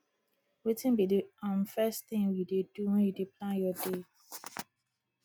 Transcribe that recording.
wetin be di um first thing you dey do when you dey plan your day